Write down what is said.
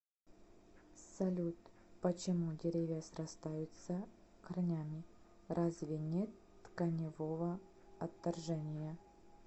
салют почему деревья срастаются корнями разве нет тканевого отторжения